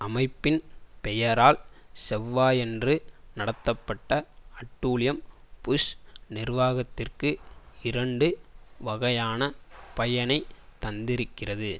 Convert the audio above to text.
அமைப்பின் பெயரால் செவ்வாயன்று நடத்தப்பட்ட அட்டூழியம் புஷ் நிர்வாகத்திற்கு இரண்டு வகையான பயனை தந்திருக்கிறது